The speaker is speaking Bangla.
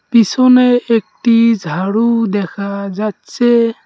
পিছনে একটি-ই ঝাড়ু দেখা যাচ্ছে-এ।